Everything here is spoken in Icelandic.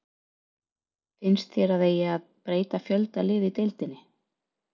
Finnst þér að eigi að breyta fjölda liða í deildinni?